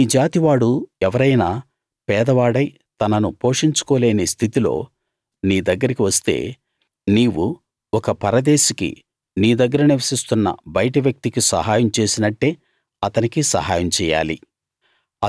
నీ జాతివాడు ఎవరైనా పేదవాడై తనను పోషించుకోలేని స్థితిలో నీ దగ్గరికి వస్తే నీవు ఒక పరదేశికి నీ దగ్గర నివసిస్తున్న బయటి వ్యక్తికి సహాయం చేసినట్టే అతనికి సహాయం చెయ్యాలి